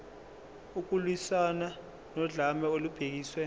ukulwiswana nodlame olubhekiswe